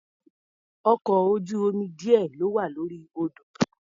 Ọkọ̀ ojú-omi díẹ̀ ló wà lórí odò.